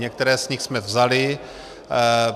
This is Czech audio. Některé z nich jsme vzali.